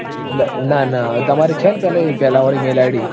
ના ના. તમારે છે ને પેલી પેલા વાડી mailid